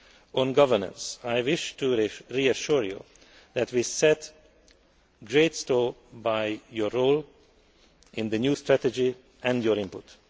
On governance, I wish to reassure you that we set great store by your role in the new strategy and by your input.